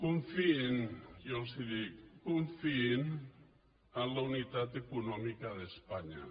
confiïn jo els ho dic que confiïn en la unitat econòmica d’espanya